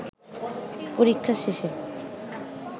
পরীক্ষা শেষে